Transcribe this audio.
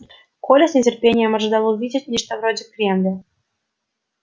коля с нетерпением ожидал увидеть нечто вроде кремля